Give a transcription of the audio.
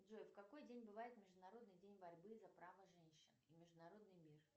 джой в какой день бывает международный день борьбы за право женщин и международный мир